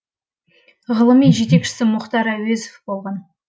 ғылыми жетекшісі мұхтар әуезов болған